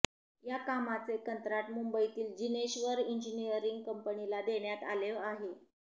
या कामाचे कंत्राट मुंबईतील जिनेश्वर इंजिनीअरिंग कंपनीला देण्यात आले आहे